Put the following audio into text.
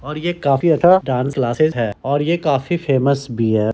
और ये काफ़ी अच्छा डांस क्लासेस है और ये काफ़ी फेमस भी है।